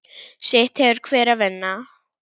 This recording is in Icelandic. Sitt hefur hver að vinna.